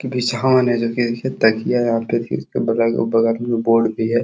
जो कि देखिये तकिया है। उसके बगल में बोर्ड भी है।